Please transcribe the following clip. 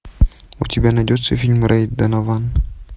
у тебя найдется фильм рэй донован